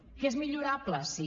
que és millorable sí